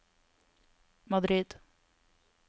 Madrid